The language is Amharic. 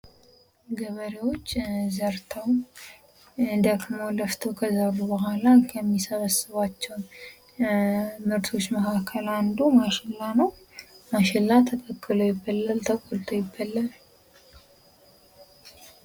ገበሬዎች ዘርተው ፤ ደክመው ፥ለፍተው ከዘሩ በኋላ የሚሰበስቧቸው ምርቶች መካከል አንዱ ማሽላ ነው። ማሽላ ተቀቅሎ ይበላል። ተሰርቶ ይበላል።